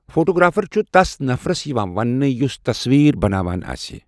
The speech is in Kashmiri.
فوٹوٗگرٛافر چھُ تس نفرس یِوان ونٛنہٕ یُس تصویٖر بناوان آسہِ